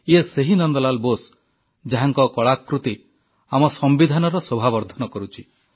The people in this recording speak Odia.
ଇଏ ସେହି ନନ୍ଦ ଲାଲ୍ ବୋଷ ଯାହାଙ୍କ କଳାକୃତ୍ତି ଆମ ସମ୍ବିଧାନର ଶୋଭା ବର୍ଦ୍ଧନ କରୁଛି